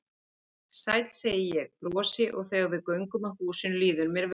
Sæll, segi ég, brosi og þegar við göngum að húsinu líður mér vel.